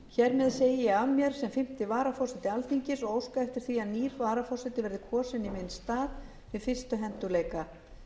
hér með segi ég af mér sem fimmta varaforseti alþingis og óska eftir því að nýr varaforseti verði kosinn í minn stað við fyrstu hentugleika